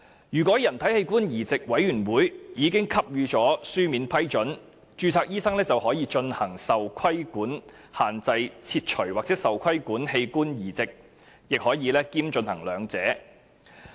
如人體器官移稙委員會已給予書面批准，註冊醫生便可進行受規限器官切除或受規限器官移植，亦可兼進行兩者。